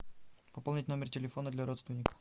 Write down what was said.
пополнить номер телефона для родственника